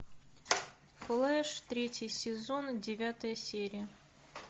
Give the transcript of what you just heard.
флэш третий сезон девятая серия